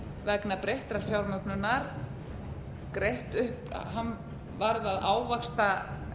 vegna breyttrar fjármögnunar greitt upp hann varð að ávaxta